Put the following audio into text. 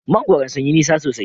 Mangwaron sun yi nisa sosai.